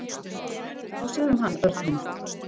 Getur þú séð um hann, Örn minn?